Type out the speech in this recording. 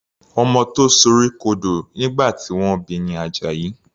Ọmọ tó sorí kodò ìgbà tí wọ́n bi ni Àjàyí.